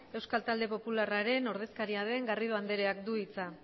euskal talde popularraren ordezkaria den garrido andereak du hitza